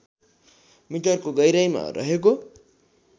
मिटरको गहिराईमा रहेको